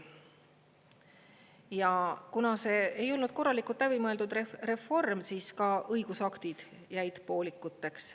Ja kuna see ei olnud korralikult läbi mõeldud reform, siis ka õigusaktid jäid poolikuks.